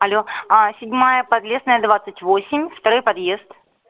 але а седьмая подлесная двадцать восемь второй подъезд